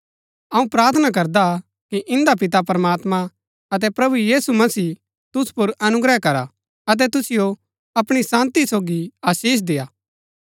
अऊँ प्रार्थना करदा कि इन्दा पिता प्रमात्मां अतै प्रभु यीशु मसीह तुसु पुर अनुग्रह करा अतै तुसिओ अपणी शान्ती सोगी आशीष देय्आ